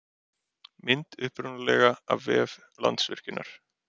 Mynd upprunalega af vef Landsvirkjunar.